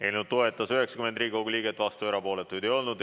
Eelnõu toetas 90 Riigikogu liiget, vastuolijaid ja erapooletuid ei olnud.